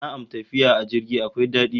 Na'am, tafiya a jirgi akwai dadi